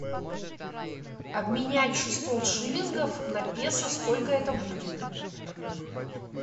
обменять шестьсот шиллингов на песо сколько это будет